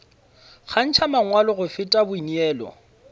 kgantšha mangwalo go feta boineelo